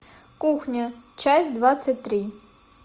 кухня часть двадцать три